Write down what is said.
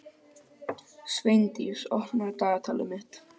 Sveindís, opnaðu dagatalið mitt.